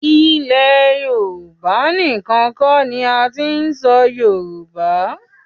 Ilẹ̀ Yorùbá níkan kọ́ ni a ti ń sọ Yorùbá.